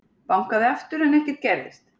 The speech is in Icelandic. Bankaði aftur en ekkert gerðist.